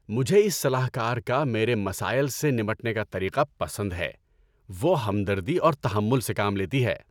‏مجھے اس صلاح کار کا میرے مسائل سے نمٹنے کا طریقہ پسند ہے۔ وہ ہمدردی اور تحمل سے کام لیتی ہے۔